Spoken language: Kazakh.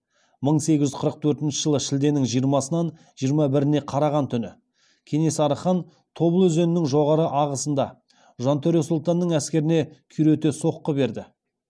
мың сегіз жүз қырық төртінші жылы шілденің жиырмасынан жиырма біріне караған түні кенесары хан тобыл өзенінің жоғары ағысында жантөре сұлтанның әскеріне күйрете соққы берді